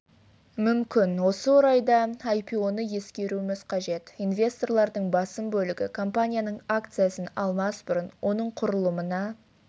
мүмкін осы орайда айпионы ескеруіміз қажет инвесторлардың басым бөлігі компанияның акциясын алмас бұрын оның құрылымына